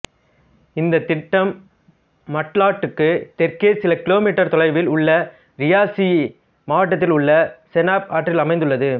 இந்த திட்டம் மாட்லாட்டுக்கு தெற்கே சில கிலோமீட்டர் தொலைவில் உள்ள ரியாசி மாவட்டத்தில் உள்ள செனாப் ஆற்றில் அமைந்துள்ளது